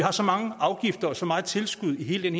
har så mange afgifter og så mange tilskud i hele den